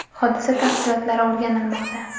Hodisa tafsilotlari o‘rganilmoqda.